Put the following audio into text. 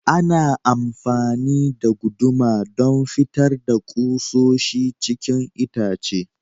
Ana amafani da guduma don fitar da kusoshi cikin itace.